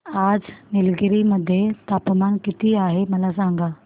आज निलगिरी मध्ये तापमान किती आहे मला सांगा